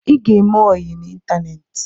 Ị ga-eme ọyi n'Ịntaneti